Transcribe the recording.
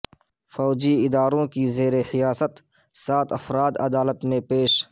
فوجی اداروں کی زیرحراست سات افراد عدالت میں پیش